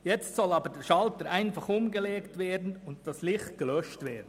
Jetzt soll der Schalter aber umgelegt und das Licht gelöscht werden.